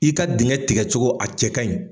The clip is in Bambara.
I ka dinnkɛ tigɛcogo, a cɛ ka ɲin.